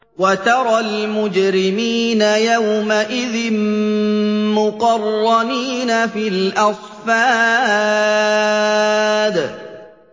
وَتَرَى الْمُجْرِمِينَ يَوْمَئِذٍ مُّقَرَّنِينَ فِي الْأَصْفَادِ